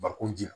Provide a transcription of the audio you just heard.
Bakun ji la